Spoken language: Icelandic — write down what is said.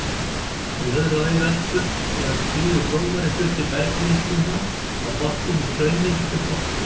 Í öðru lagi veltur eða skríður grófari hluti bergmylsnunnar á botni með straumi sem botnskrið.